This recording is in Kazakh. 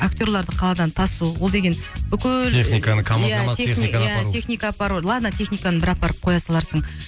актерларды қаладан тасу ол деген бүкіл техниканы камаз камаз техниканы апару иә техника апару ладно техниканы бір апарып коя саларсың